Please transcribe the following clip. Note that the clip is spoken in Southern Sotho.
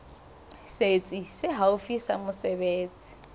setsi se haufi sa mesebetsi